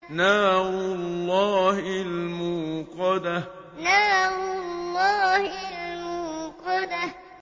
نَارُ اللَّهِ الْمُوقَدَةُ نَارُ اللَّهِ الْمُوقَدَةُ